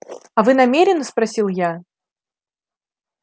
а вы намерены спросил я